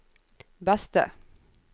beste